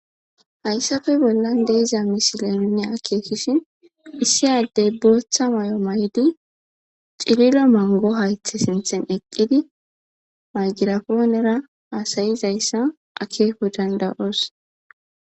hayssafe bollan deiza misilenune akeekishin issi addey booththa mayo mayidu cirilo mongo haythe sinthen eqqidi mayjirafoonera aasayizayssa akeeku dandayoos